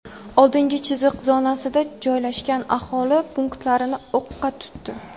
oldingi chiziq zonasida joylashgan aholi punktlarini o‘qqa tutdi.